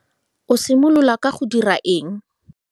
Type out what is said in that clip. O simolola ka go dira eng?